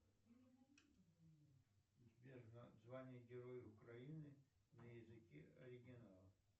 сбер звание героя украины на языке оригинала